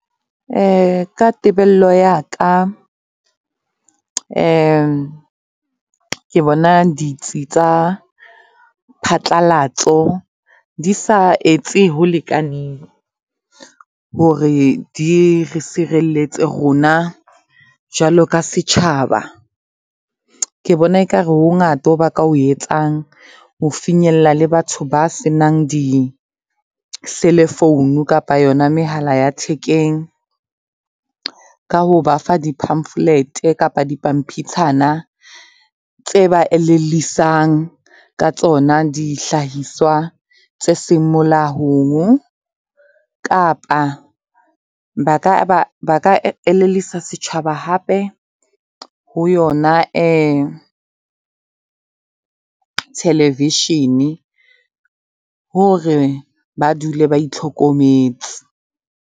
Ka tebello ya ka, ke bona ditsi tsa phatlalatso di sa etse ho lekaneng hore di re sireletse rona, jwalo ka setjhaba. Ke bona ekare ho hongata ho ba ka o etsang, ho finyella le batho ba se nang di-cellphone kapa yona mehala ya thekeng. Ka ho ba fa di-pamphlet kapa di pampitshana tse ba elellisang ka tsona dihlahiswa tse seng molaong kapa ba ka elellisa setjhaba hape ho yona, televishene hore ba dule ba itlhokometse.